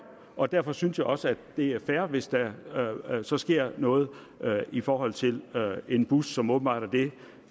og derfor synes jeg også det er fair hvis der så sker noget i forhold til en bus som åbenbart er det